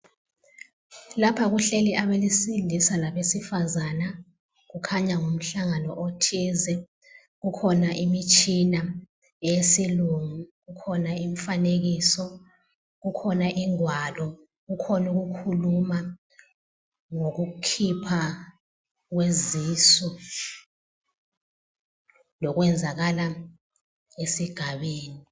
Lapha kuhleli abesilisa labesifazana kukhanya ngumhlangano othize. Kukhona imitshina yesilungu, kukhona emifanekiso, kukhona ingwalo, kukhona ukukhuluma ngokukhipha kwezisu lokwenzakala esigabeni.